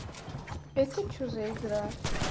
это что за игра